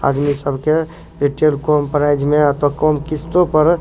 आदमी सब के कम प्राइस में आउ तो कम किस्तों पर --